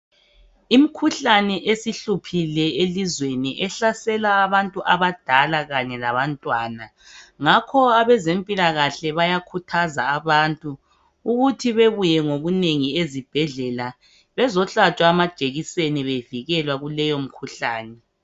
Imkhuhlane esihluphile elizweni ehlsela abantu abadala kanye labantwa abantwana. Ngakho abazemphilakahle bayakuthaza abantu ukuthi bebuye ngobunengi ezibhedlela bezohlotshwa amajekiseni bevikelwa kuleyo mikhuhlane.